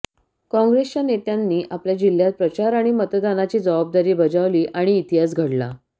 काँग्रेसच्या नेत्यांनी आपल्या जिल्ह्यात प्रचार आणि मतदानाची जबाबदारी बजावली आणि इतिहास घडला